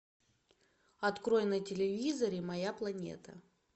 открой на телевизоре моя планета